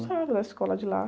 Gostava da escola de lá.